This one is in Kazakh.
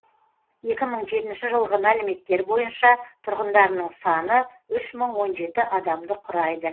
екі мың жетінші жылғы мәліметтер бойынша тұрғындарының саны үш мың он жеті адамды құрайды